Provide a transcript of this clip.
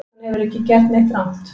Hann hefur ekki gert neitt rangt